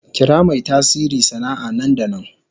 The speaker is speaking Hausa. Kira mai tasiri sana'a nan da nan.